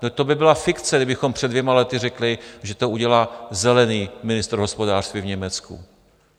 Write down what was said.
No to by byla fikce, kdybychom před dvěma lety řekli, že to udělá "zelený" ministr hospodářství v Německu.